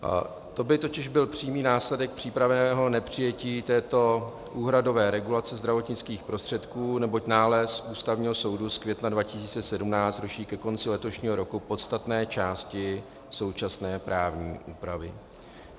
To by totiž byl přímý následek případného nepřijetí této úhradové regulace zdravotnických prostředků, neboť nález Ústavního soudu z května 2017 ruší ke konci letošního roku podstatné části současné právní úpravy.